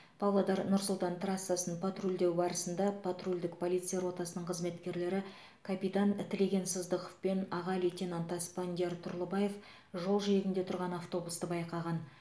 павлодар нұр сұлтан трассасын патрульдеу барысында патрульдік полиция ротасының қызметкерлері капитан тілеген сыздықов пен аға лейтенант аспандияр тұрлыбаев жол жиегінде тұрған автобусты байқаған